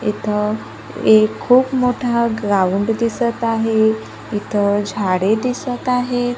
इथं एक खूप मोठा ग्राउंड दिसतं आहे इथं झाडे दिसतं आहे.